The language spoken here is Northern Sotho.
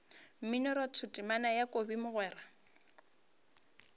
mminoratho temana ya kobi mogwera